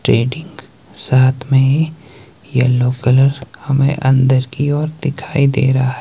trading साथ में yellow colour हमे अंदर की ओर दिखाई दे रहा--